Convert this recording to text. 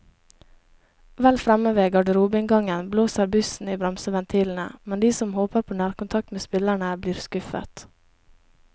Vel fremme ved garderobeinngangen blåser bussen i bremseventilene, men de som håper på nærkontakt med spillerne, blir skuffet.